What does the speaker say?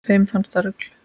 Þeim fannst það rugl